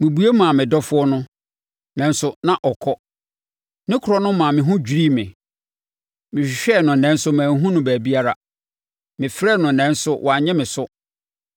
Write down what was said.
Mebue maa me dɔfoɔ no, nanso na ɔkɔ. Ne korɔ no maa me ho dwirii me. Mehwehwɛɛ no nanso manhunu no baabiara. Mefrɛɛ no nanso wannye me so.